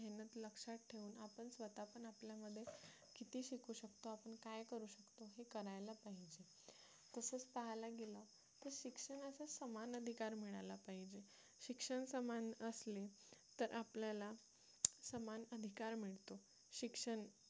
काय करू शकतो हे करायला पाहिजे तसंच पाहायला गेला तर शिक्षणाचा समान अधिकार मिळाला पाहिजे शिक्षण समान असले तर आपल्याला समान अधिकार मिळतो शिक्षण